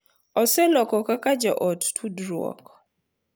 Oseloko kaka joot tudruok,